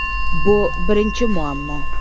Bu birinchi muammo.